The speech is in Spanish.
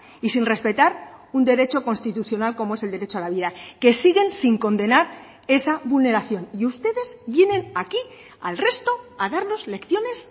y sin respetar un derecho constitucional como es el derecho a la vida que siguen sin condenar esa vulneración y ustedes vienen aquí al resto a darnos lecciones